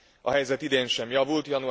A helyzet idén sem javult.